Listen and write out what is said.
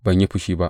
Ban yi fushi ba.